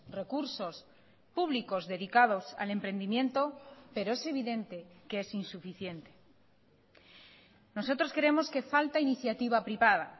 recursos públicos dedicados al emprendimiento pero es evidente que es insuficiente nosotros creemos que falta iniciativa privada